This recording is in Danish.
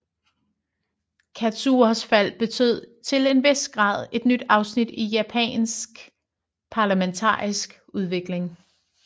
Katsuras fald betød til en vis grad et nyt afsnit i Japans parlamentariske udvikling